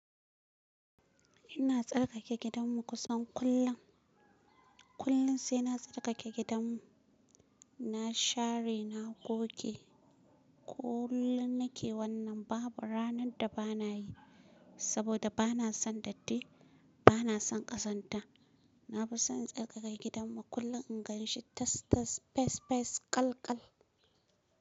Ina tsarkake gidan mu kusan kullum. Kullum sai na tsarkake gidan, na share, na goge. Kullum nake wannan, babu ranar da bana yi saboda bana son datti, bana son kazanta. Na fi son in tsarkake gidan mu kullum in gan shi tas-tas, fes-fes, kal-kal.